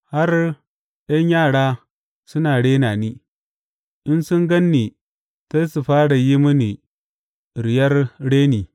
Har ’yan yara suna rena ni; in sun gan ni sai su fara yi mini riyar reni.